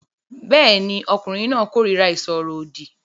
Bẹ́ẹ̀ ni, ọkùnrin náà kórìíra ìsọ̀rọ̀ òdì